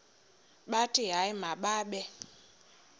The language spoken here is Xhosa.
bathi hayi mababe